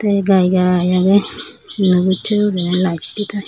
te gai gai aage sit naw bujje gurinei light di tai.